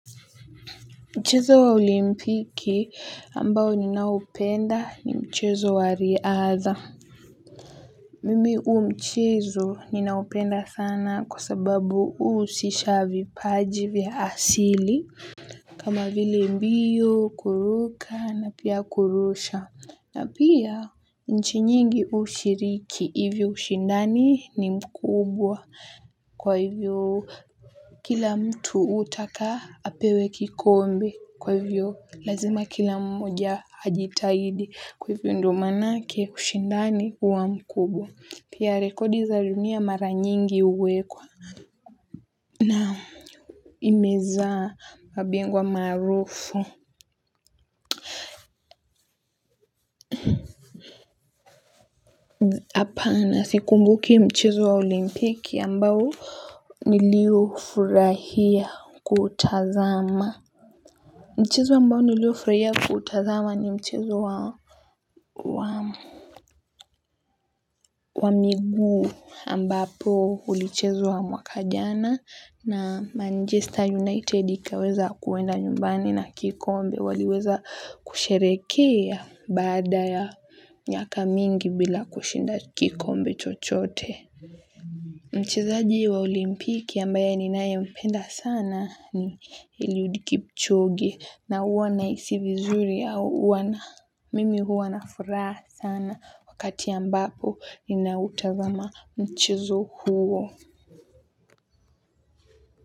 Mchezo wa olimpiki ambao ninaoupenda ni mchezo wa riadha. Mimi huu mchezo ninaupenda sana kwa sababu huusisha vipaji vya asili. Kama vile mbio kuruka na pia kurusha na pia nchi nyingi hushiriki hivyo ushindani ni mkubwa kwa hivyo. Kwa kila mtu hutaka apewe kikombe kwa hivyo lazima kila mmoja ajitaidi kwa hivyo ndio manake ushindani huwa mkubwa. Pia rekodi za rinia maranyingi huwekwa na imeza mabingwa maarufu. Hapana sikumbuki mchezo wa olimpiki ambao nilio furahia kutazama. Mchezo ambao nilio furahia kutazama ni mchezo wa miggu ambapo ulichezwa wa mwaka jana na Manchester United ikaweza kuenda nyumbani na kikombe waliweza kusherehekea baada ya miaka mingi bila kushinda kikombe chochote. Mchezaji wa olimpiki ambaye ninaye mpenda sana ni Eliud Kipchoge na huwa nahiisi vizuri au huwa na mimi huwa na furaha sana wakati ambapo ni na utazama mchezo huo.